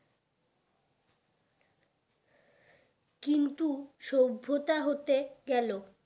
কিন্তু সভ্যতা হতে গেল